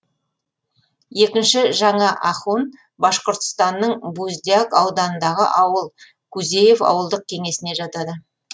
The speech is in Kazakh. екінші жаңа ахун башқұртстанның буздяк ауданындағы ауыл кузеев ауылдық кеңесіне жатады